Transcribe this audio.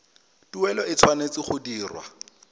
tuelo e tshwanetse go dirwa